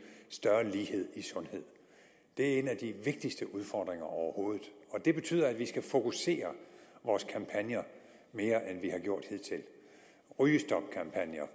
større lighed i sundhed det er en af de vigtigste udfordringer overhovedet og det betyder at vi skal fokusere vores kampagner mere end vi har gjort hidtil rygestopkampagner